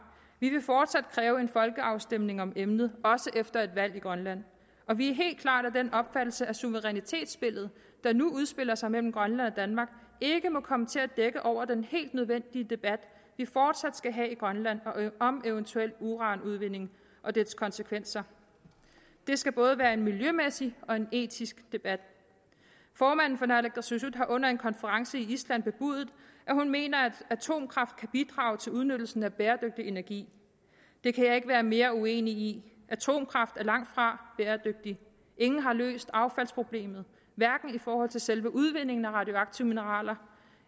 vi vil fortsat kræve en folkeafstemning om emnet også efter et valg i grønland og vi er helt klart af den opfattelse at suverænitetsspillet der nu udspiller sig mellem grønland og danmark ikke må komme til at dække over den helt nødvendige debat vi fortsat skal have i grønland om eventuel uranudvinding og dets konsekvenser det skal både være en miljømæssig og etisk debat formanden for naalakkersuisut har under en konference i island bebudet at hun mener at atomkraft kan bidrage til udnyttelsen af bæredygtig energi det kan jeg ikke være mere uenig i atomkraft er langt fra bæredygtigt ingen har løst affaldsproblemet hverken i forhold til selve udvindingen af radioaktive mineraler